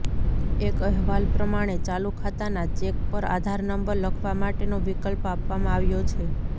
એક અહેવાલ પ્રમાણે ચાલુ ખાતાના ચેક પર આધાર નંબર લખવા માટેનો વિકલ્પ આપવામાં આવ્યો છે